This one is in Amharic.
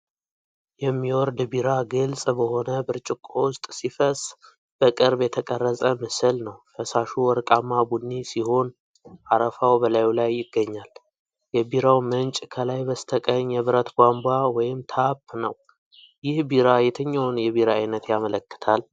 የሚወርድ ቢራ ግልጽ በሆነ ብርጭቆ ውስጥ ሲፈስ በቅርብ የተቀረጸ ምስል ነው። ፈሳሹ ወርቃማ ቡኒ ሲሆን አረፋው በላዩ ላይ ይገኛል። የቢራው ምንጭ ከላይ በስተቀኝ የብረት ቧንቧ (ታፕ) ነው። ይህ ቢራ የትኛውን የቢራ አይነት ያመለክታል?